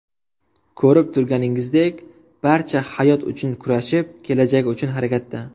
Ko‘rib turganingizdek, barcha hayot uchun kurashib, kelajagi uchun harakatda.